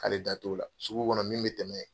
Hali da t'o la sugu kɔnɔ min me tɛmɛ yen